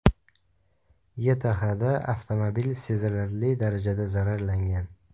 YTHda avtomobil sezilarli darajada zararlangan.